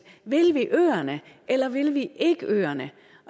vil vi øerne eller vil vi ikke øerne